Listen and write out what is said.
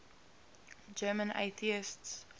german atheists